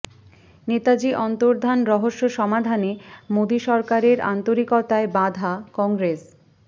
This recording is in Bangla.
নেতাজি অন্তর্ধান রহস্য সমাধানে মোদী সরকারের আন্তরিকতায় বাধা কংগ্রেস